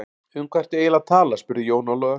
Um hvað ertu eiginlega að tala spurði Jón Ólafur.